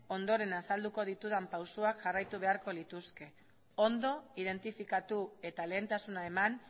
ondoren azalduko ditudan pausuak jarraitu beharko lituzke ondo identifikatu eta lehentasuna eman